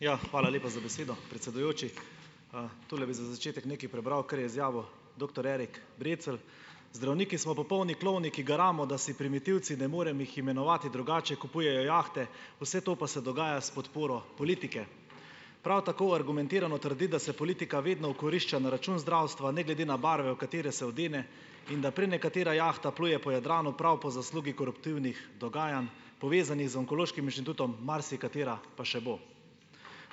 Ja, hvala lepa za besedo, predsedujoči. Tole bi za začetek nekaj prebral, kar je izjavil doktor Erik Brecelj: "Zdravniki smo popolni klovni, ki garamo, da si primitivci, ne morem jih imenovati drugače, kupujejo jahte, vse to pa se dogaja s podporo politike." Prav tako argumentirano trdi, da se politika vedno okorišča na račun zdravstva, ne glede na barve, v katere se odene, in da prenekatera jahta pluje po Jadranu prav po zaslugi koruptivnih dogajanj, povezanih z Onkološkim inštitutom, marsikatera pa še bo.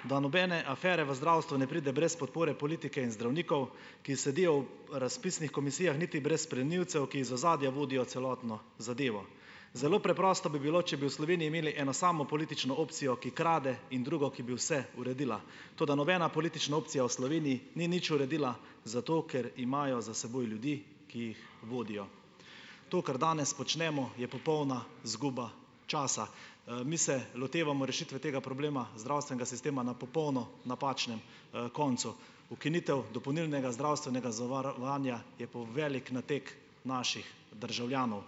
Da nobene afere v zdravstvu ne pride brez podpore politike in zdravnikov, ki sedijo v razpisnih komisijah niti brez plenilcev, ki iz ozadja vodijo celotno zadevo. Zelo preprosto bi bilo, če bi v Sloveniji imeli eno samo politično opcijo, ki krade, in drugo, ki bi vse uredila. Toda nobena politična opcija v Sloveniji ni nič uredila, zato ker imajo za seboj ljudi, ki jih vodijo. To, kar danes počnemo, je popolna izguba časa. Mi se lotevamo rešitve tega problema zdravstvenega sistema na popolno napačnem, koncu. Ukinitev dopolnilnega zdravstvenega zavarovanja je velik nateg naših državljanov.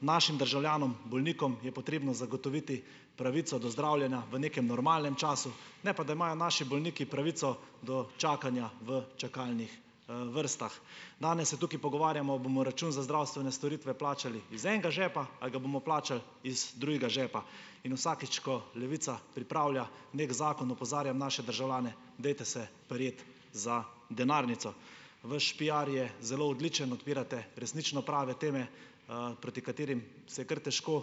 Našim državljanom, bolnikom je potrebno zagotoviti pravico do zdravljenja v nekem normalnem času, ne pa da imajo naši bolniki pravico do čakanja v čakalnih, vrstah. Danes se tukaj pogovarjamo, a bomo račun za zdravstvene storitve plačali iz enega žepa ali ga bomo plačali iz drugega žepa. In vsakič, ko Levica pripravlja neki zakon, opozarjam naše državljane, dajte se prijeti za denarnico. Vaš piar je zelo odličen. Odpirate resnično prave teme, proti katerim se je kar težko,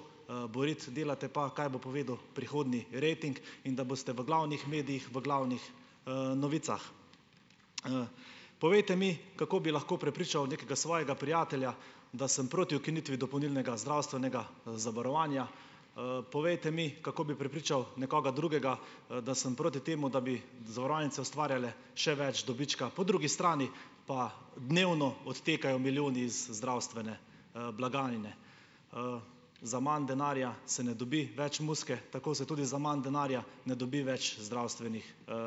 boriti. Delate pa, kaj bo povedal prihodnji rating in da boste v glavnih medijih, v glavnih, novicah. Povejte mi, kako bi lahko prepričal nekega svojega prijatelja, da sem proti ukinitvi dopolnilnega zdravstvenega, zavarovanja. Povejte mi, kako bi prepričal nekoga drugega, da sem proti temu, da bi zavarovalnice ustvarjale še več dobička. Po drugi strani pa dnevno odtekajo milijoni iz zdravstvene, blagajne. Za manj denarja se ne dobi več muzike, tako se tudi za manj denarja ne dobi več zdravstvenih,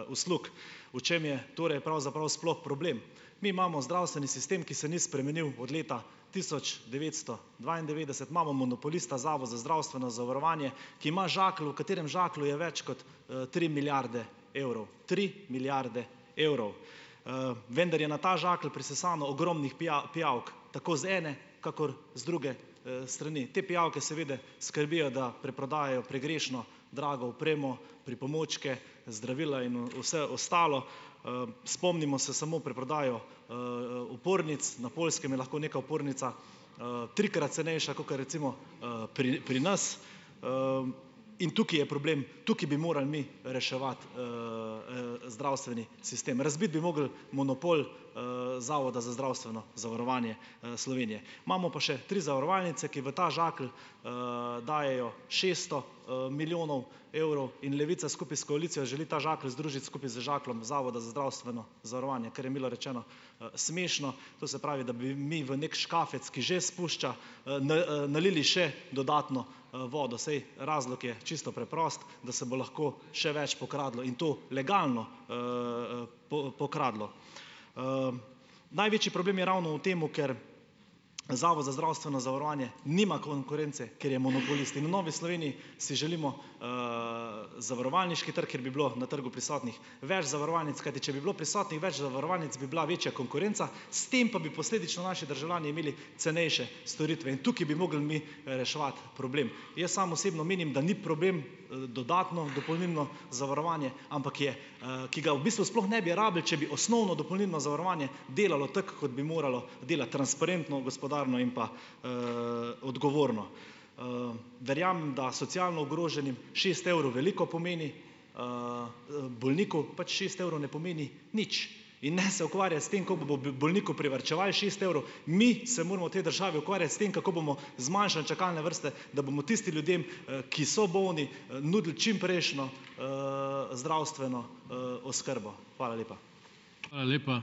uslug. V čem je torej pravzaprav sploh problem. Mi imamo zdravstveni sistem, ki se ni spremenil od leta tisoč devetsto dvaindevetdeset. Imamo monopolista, Zavod za zdravstveno zavarovanje, ki ima žakelj, v katerem žaklju je več kot, tri milijarde evrov. Tri milijarde evrov, Vendar je na ta žakelj prisesano ogromnih pijavk, tako z ene kakor z druge, strani. Te pijavke seveda skrbijo, da preprodajajo pregrešno drago opremo, pripomočke, zdravila in vse ostalo. Spomnimo se samo preprodajo, opornic. Na Poljskem je lahko neka opornica, trikrat cenejša kakor, recimo, pri pri nas. In tukaj je problem. Tukaj bi morali mi reševati, zdravstveni sistem. Razbiti bi mogli monopol, Zavoda za zdravstveno zavarovanje, Slovenije. Imamo pa še tri zavarovalnice, ki v ta žakelj, dajejo šeststo, milijonov evrov, in Levica skupaj s koalicijo želi ta žakelj združiti skupaj z žakljem Zavoda za zdravstveno zavarovanje, kar je, milo rečeno, smešno. To se pravi, da bi mi v neki škafec, ki že pušča, nalili še dodatno, vodo, saj razlog je čisto preprost, da se bo lahko še več pokradlo, in to legalno, pokradlo. Največji problem je ravno v tem, ker Zavod za zdravstveno zavarovanje nima konkurence, ker je monopolist. In v Novi Sloveniji si želimo, zavarovalniški trg, kjer bi bilo na trgu prisotnih več zavarovalnic, kajti če bi bilo prisotnih več zavarovalnic, bi bila večja konkurenca, s tem pa bi posledično naši državljani imeli cenejše storitve. In tukaj bi mogli mi reševati problem. Jaz sam osebno menim, da ni problem, dodatno dopolnilno zavarovanje, ampak je, ki ga v bistvu sploh ne bi rabili, če bi osnovno, dopolnilno zavarovanje delalo tako, kot bi moralo delati: transparentno, gospodarno in pa, odgovorno. Verjamem, da socialno ogroženim šest evrov veliko pomeni, bolniku pač šest evrov ne pomeni nič. In ne se ukvarjati s tem, bolniku privarčevali šest evrov, mi se moramo v tej državi ukvarjati s tem, kako bomo zmanjšali čakalne vrste, da bomo tistim ljudem, ki so bolni, nudili čimprejšnjo, zdravstveno, oskrbo. Hvala lepa.